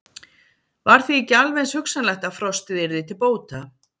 Var því ekki alveg eins hugsanlegt að frostið yrði til bóta?